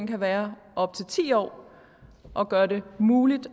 kan være op til ti år og gøre det muligt